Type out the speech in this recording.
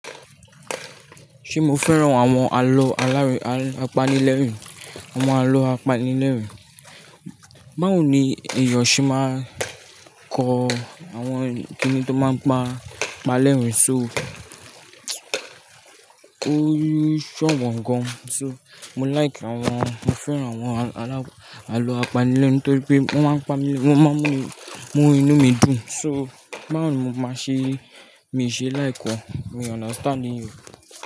Ṣé mo fẹ́ràn àwọn àlọ́ apanilẹ́rìn? Àwọn àlọ́ apanilẹ́rìn. Báwo ni èèyàn ṣe máa ń kọ àwọn kíni tó máa ń pa lẹ́rìn-ín so? Ó ṣọ̀wọ́n gan. So, mo like àwọn, mo fẹ́ràn àwọn àlọ́ apanilẹ́rìn nítorí pé wọ́n máa ń pa mi, wọ́n máa ń mú inú mi dùn. So, báwo ni mo máa ṣe, mi ṣe like wọn? Mi understand e.